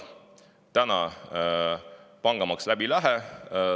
Täna pangamaks läbi ei lähe.